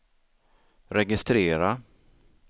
registrera